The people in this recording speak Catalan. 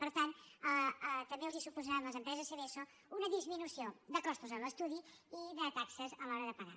per tant també els suposaran a les empreses seveso una disminució de costos en l’estudi i de taxes a l’hora de pagar